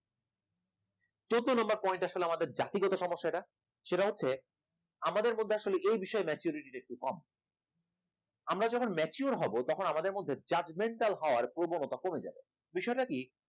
চৌদ্দ number point টা আসলে আমাদের জাতিগত সমস্যা এটা, সেটা হচ্ছে আমাদের মধ্যে আসলে এই বিষয়ে maturity টা একটু কম আমরা যখন mature হব তখন আমাদের মধ্যে judgemental হওয়ার প্রবণতাটা কমে যাবে বিষয়টা কি